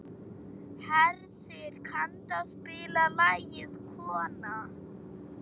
Hersir, kanntu að spila lagið „Kona“?